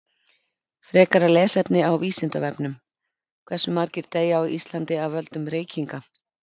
Frekara lesefni á Vísindavefnum: Hversu margir deyja á Íslandi af völdum reykinga?